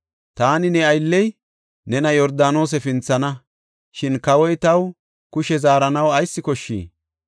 Taani ne aylley nena Yordaanose pinthana. Shin kawoy taw kushe zaaranaw ayis koshshii?